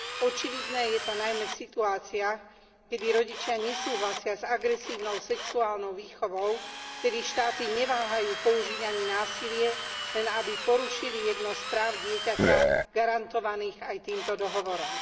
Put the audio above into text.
Očividné je to najmä v situáciách, keď rodičia nesúhlasia s agresívnou sexuálnou výchovou, vtedy štáty neváhajú použiť ani násilie, len aby porušili jedno z práv dieťaťa garantovaných aj týmto dohovorom.